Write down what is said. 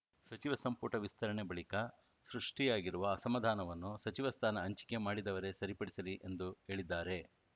ಸಚಿವ ಸಂಪುಟ ವಿಸ್ತರಣೆ ಬಳಿಕ ಸೃಷ್ಟಿಯಾಗಿರುವ ಅಸಮಾಧಾನವನ್ನು ಸಚಿವ ಸ್ಥಾನ ಹಂಚಿಕೆ ಮಾಡಿದವರೇ ಸರಿಪಡಿಸಲಿ ಎಂದು ಹೇಳಿದ್ದಾರೆ